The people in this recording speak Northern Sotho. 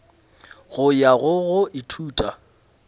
go ya go go ithuta